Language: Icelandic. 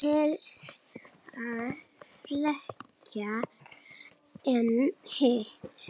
Herða frekar en hitt?